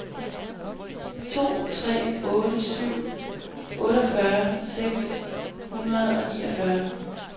to tre otte syv otteogfyrre seks hundrede og niogfyrre